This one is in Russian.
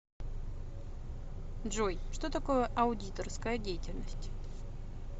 джой что такое аудиторская деятельность